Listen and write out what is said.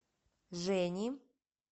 жени